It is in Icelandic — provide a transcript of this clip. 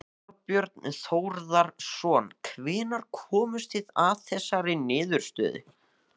Þorbjörn Þórðarson: Hvenær komust þið að þessari niðurstöðu?